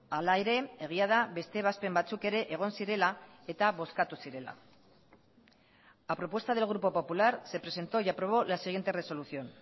hala ere egia da beste ebazpen batzuk ere egon zirela eta bozkatu zirela a propuesta del grupo popular se presentó y aprobó la siguiente resolución